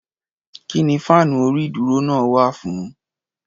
Kí ni fáànú orí-ìdúró náà wà fún?